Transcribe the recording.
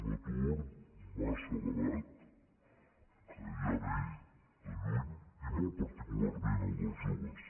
un atur massa elevat que ja ve de lluny i molt particularment el dels joves